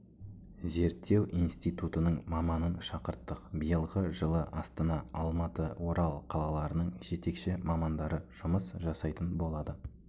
зерттеу инситутының маманын шақырттық биылғы жылы астана алматы орал қалаларының жетекші мамандары жұмыс жасайтын болады